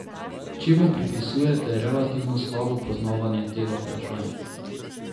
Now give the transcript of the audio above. Čemu pripisujete relativno slabo poznavanje tega vprašanja?